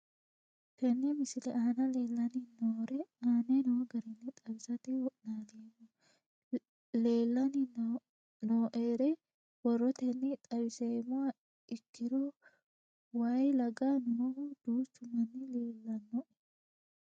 Tene misile aana leelanni nooerre aane noo garinni xawisate wonaaleemmo. Leelanni nooerre borrotenni xawisummoha ikkiro way laga noohu duuchu manni leelanoe.